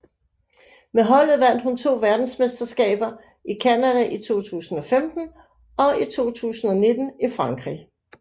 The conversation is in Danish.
Med holdet vandt hun to verdensmesterskaber i Canada i 2015 og i 2019 i Frankrig